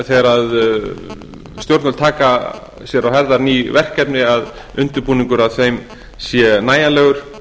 þegar stjórnvöld taka að sér að höfða ný verkefni að undirbúningur að þeim sé nægjanlegur